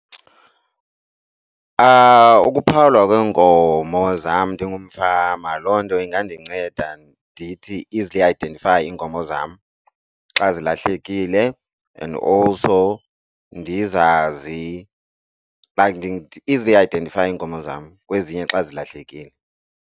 Ukuphawulwa kweenkomo zam ndingumfama loo nto ingandinceda ndithi easily identify iinkomo zam xa zilahlekile and also ndizazi like easily identify zam kwezinye xa zilahlekile.